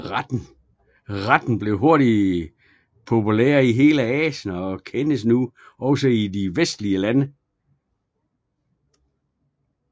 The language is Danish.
Retten blev hurtigt populær i hele Asien og kendes nu også i vestlige lande